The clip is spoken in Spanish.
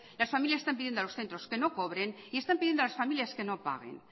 las familias están pidiendo a los centros que no cobren y están pidiendo a las familias que no paguen